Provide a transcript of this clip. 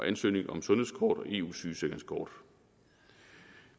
ansøgning om sundhedskort og eu sygesikringskort